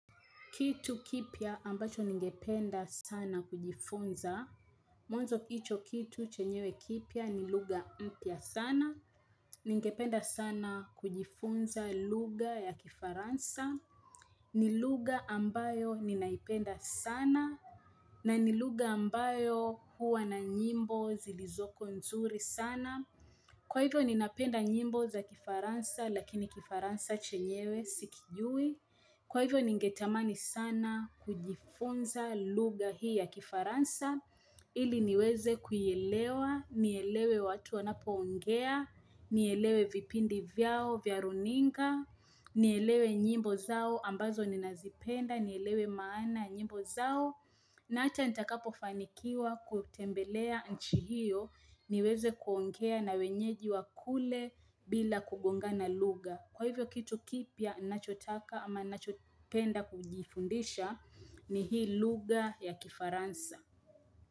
Kitu kipyya ambacho ningependa sana kujifunza. Mwanzo hicho kitu chenyewe kipya ni lugha mpya sana. Ningependa sana kujifunza luga ya kifaransa. Ni lugha ambayo ninaipenda sana. Na ni lugha ambayo huwa na nyimbo zilizoko nzuri sana. Kwa hivyo ninapenda nyimbo za kifaransa lakini kifaransa chenyewe sikijui. Kwa hivyo ningetamani sana kujifunza lugha hii ya kifaransa, ili niweze kuielewa, nielewe watu wanapoongea, nielewe vipindi vyao, vya runinga, nielewe nyimbo zao ambazo ninazipenda, nielewe maana ya nyimbo zao, na hata nitakapofanikiwa kutembelea nchi hiyo, niweze kuongea na wenyeji wa kule bila kugongana lugha. Kwa hivyo kitu kipya ninachotaka ama ninachopenda kujifundisha ni hii lugha ya kifaransa.